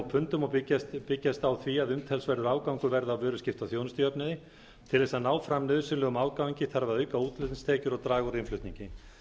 pundum og byggjast á því að umtalsverður afgangur verði á vöruskipta og þjónustujöfnuði til þess að ná fram nauðsynlegum afgangi þarf að auka útflutningstekjur og draga úr innflutningi